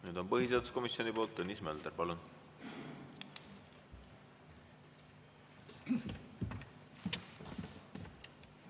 Nüüd põhiseaduskomisjoni poolt Tõnis Mölder, palun!